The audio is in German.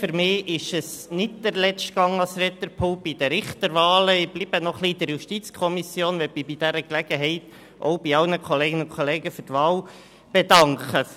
Für mich ist es nicht der letzte Gang an das Rednerpult bei den Richterwahlen, ich bleibe noch etwas in der JuKo und möchte mich bei dieser Gelegenheit bei allen Kolleginnen und Kollegen für die Wahl bedanken.